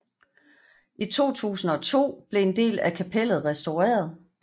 I 2002 blev en del af kapellet restaureret